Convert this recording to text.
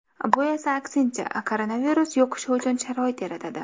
Bu esa aksincha, koronavirus yuqishi uchun sharoit yaratadi.